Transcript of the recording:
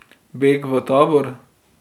Beg v tabor.